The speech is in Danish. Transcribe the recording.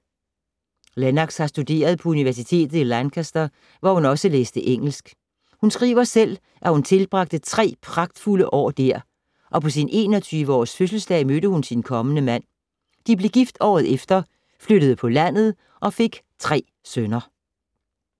Lennox har studeret på universitetet i Lancaster, hvor hun læste engelsk. Hun skriver selv, at hun tilbragte tre pragtfulde år der, og på sin 21-års fødselsdag mødte hun sin kommende mand. De blev gift året efter, flyttede på landet og fik tre sønner.